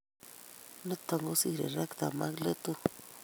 Niton kosiree rectum ak letut